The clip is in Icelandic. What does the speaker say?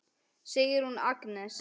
Sigrún Agnes.